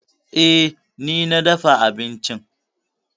E, ni na dafa abincin.